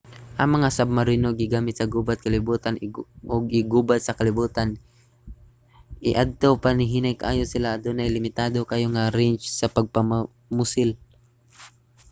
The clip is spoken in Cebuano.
ang mga submarino gigamit sa gubat sa kalibutan i ug gubat sa kalibutan ii. niadto pa hinay kaayo sila ug adunay limitado kaayo nga range sa pagpamusil